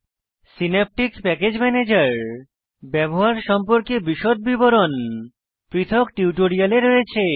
Synaptic package manager ব্যবহার সম্পর্কে বিশদ বিবরণ পৃথক টিউটোরিয়ালে রয়েছে